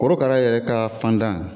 Korokara yɛrɛ ka fandan